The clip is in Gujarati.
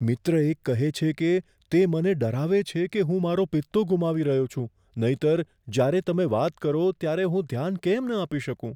મિત્ર એક કહે છે કે, તે મને ડરાવે છે કે હું મારો પિત્તો ગુમાવી રહ્યો છું, નહીંતર, જ્યારે તમે વાત કરો ત્યારે હું ધ્યાન કેમ ન આપી શકું?